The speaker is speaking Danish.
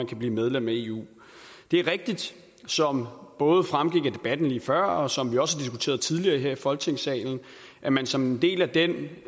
kan blive medlem af eu det er rigtigt som både fremgik af debatten lige før og som vi også har diskuteret tidligere her i folketingssalen at man som en del af den